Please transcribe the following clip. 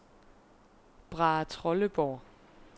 Brahetrolleborg